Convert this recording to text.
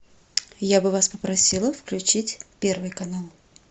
я бы вас попросила включить первый канал